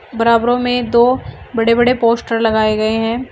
बराबरो में दो बड़े बड़े पोस्टर लगाए गए है।